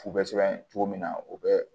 F'u bɛ sɛbɛn cogo min na u bɛ